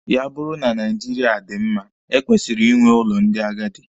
Ya bụrụ na Naijiria dị mma, e kwesịrị inwe ụlọ ndị agadi.